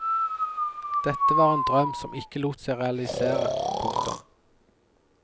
Dette var en drøm som ikke lot seg realisere. punktum